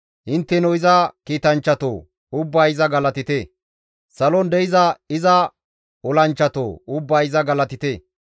Intteno iza kiitanchchatoo! Ubbay iza galatite; salon de7iza iza olanchchatoo! Ubbay iza galatite.